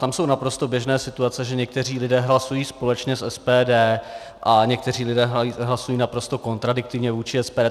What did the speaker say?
Tam jsou naprosto běžné situace, že někteří lidé hlasují společně s SPD a někteří lidé hlasují naprosto kontradiktivně vůči SPD.